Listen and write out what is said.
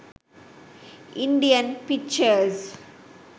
indian pictures